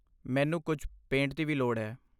ਮੈਨੂੰ ਕੁਝ ਪੇਂਟ ਦੀ ਵੀ ਲੋੜ ਹੈ।